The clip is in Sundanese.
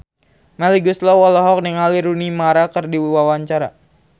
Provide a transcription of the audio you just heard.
Melly Goeslaw olohok ningali Rooney Mara keur diwawancara